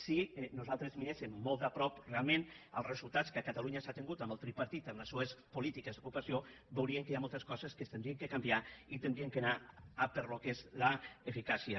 si nosaltres miréssem molt de prop realment els resultats que a catalunya s’ha tingut amb el tripartit amb les seues polítiques d’ocupació veuríem que hi ha moltes coses que s’haurien de canviar i haurien d’anar pel que és l’eficàcia